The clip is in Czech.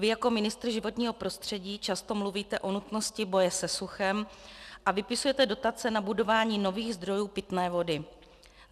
Vy jako ministr životního prostředí často mluvíte o nutnosti boje se suchem a vypisujete dotace na budování nových zdrojů pitné vody.